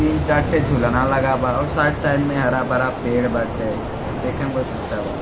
तीन चार ठे झूलना लगावा और साइड -साइड में हरा- भरा पेड़ बाटे देखे में बहुत अच्छा बा --